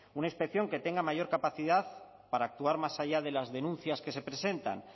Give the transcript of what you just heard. una inspección que tenga mayor capacidad para actuar más allá de las denuncias que se presentan